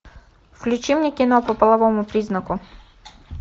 включи мне кино по половому признаку